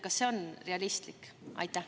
Kas see on realistlik?